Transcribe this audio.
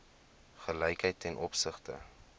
gelykheid ten opsigte